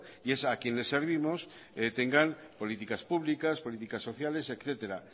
y es a quien servimos tengan políticas publicas políticas sociales etcétera